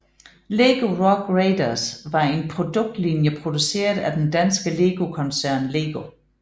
Lego Rock Raiders var en produktlinje produceret af den danske legetøjskoncern LEGO